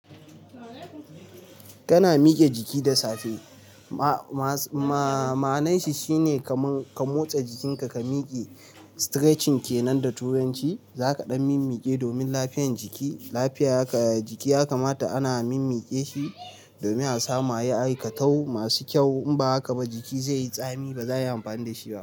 Kana miƙe jiki da safe, ma-ma-ma'ananshi shine ka motsa jikinka, ka miƙe, stretching kenan da turanci, zaka ɗan mimmiƙe domin lafiyan jiki. Lafiya haka, jiki ya kamata ana mimmiƙe shi domin a samu ayi aikatau masu kyau. In ba haka ba jiki zai yi tsami ba za a yi amfani da shi ba.